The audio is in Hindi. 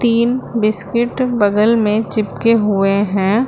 तीन बिस्किट बगल में चिपके हुए हैं।